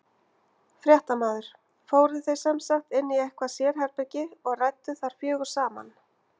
Fréttamaður: Fóruð þið sem sagt inn í eitthvað sérherbergi og rædduð þar fjögur saman?